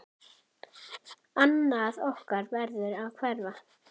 Annað okkar verður að hverfa.